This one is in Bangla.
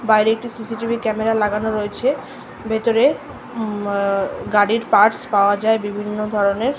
বাইরে একটি সি.সি.টি.ভি ক্যামেরা লাগানো রয়েছে ভেতরে উম গাড়ির পার্টস পাওয়া যায় বিভিন্ন ধরনের।